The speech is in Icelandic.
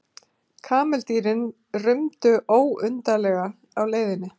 Kameldýrin rumdu ólundarlega á leiðinni.